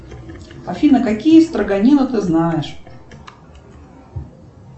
афина какие строганина ты знаешь